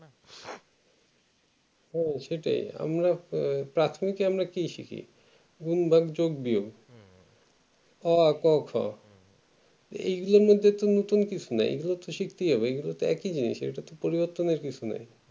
হু সেটাই আহ প্রাথমিকে আমরা কলি শিখি গুন ভাগ যোগ বিয়োগ অ আ ক খ এগুলো মধ্যে তুমি তুমি নতুন কিছু নেই এগুলো তো শিখতেই হবে এগুলো মতো একই জিনিস